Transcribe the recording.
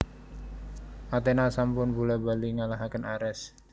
Athena sampun bola bali ngalahaken Ares